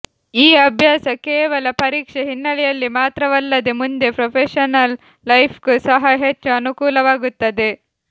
ಈ ಅಭ್ಯಾಸ ಕೇವಲ ಪರೀಕ್ಷೆ ಹಿನ್ನೆಲೆಯಲ್ಲಿ ಮಾತ್ರವಲ್ಲದೇ ಮುಂದೆ ಪ್ರೊಫೇಶನಲ್ ಲೈಫ್ಗೂ ಸಹ ಹೆಚ್ಚು ಅನುಕೂಲವಾಗುತ್ತದೆ